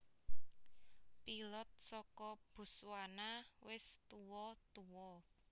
Pilot soko Botswana wis tuo tuo